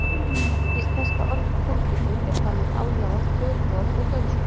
Íslenska orðið kúrbítur er þannig aðlagað tökuorð úr dönsku.